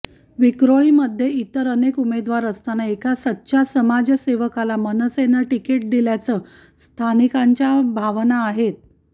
विक्रोळीमध्ये इतर अनेक उमेदवार असताना एका सच्चा समाजसेवकाला मनसेने तिकीट दिल्याचं स्थनिकांच्या भावना आहेत